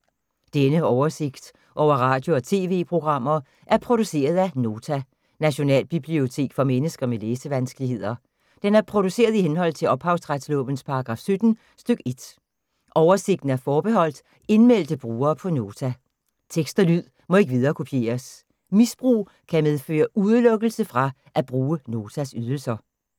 Denne oversigt over radio og TV-programmer er produceret af Nota, Nationalbibliotek for mennesker med læsevanskeligheder. Den er produceret i henhold til ophavsretslovens paragraf 17 stk. 1. Oversigten er forbeholdt indmeldte brugere på Nota. Tekst og lyd må ikke viderekopieres. Misbrug kan medføre udelukkelse fra at bruge Notas ydelser.